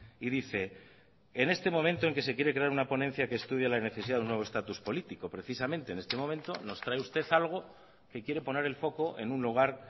y dice en este momento en que se quiere crear una ponencia que estudia la necesidad de un nuevo estatus político precisamente en este momento nos trae usted algo que quiere poner el foco en un lugar